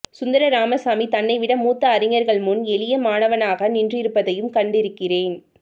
சுந்தர ராமசாமி தன்னைவிட மூத்த அறிஞர்கள்முன் எளிய மாணவனாக நின்றிருப்பதையும் கண்டிருக்கிறேன்